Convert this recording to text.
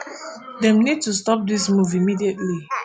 dem need to stop dis move immediately